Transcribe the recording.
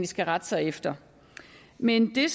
skal rette sig efter men det